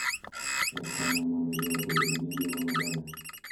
E konyo mondo joot obed gi ngima maber.